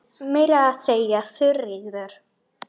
Meira að segja Þuríður